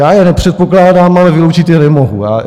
Já je nepředpokládám, ale vyloučit je nemohu.